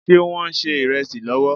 Ṣé Wọ́n ń ṣe ìrẹsì lọ́wọ́?